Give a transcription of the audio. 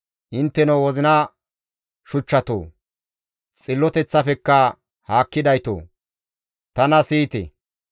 «Intteno wozina shuchchatoo, xilloteththafekka haakkidaytoo, tana siyite.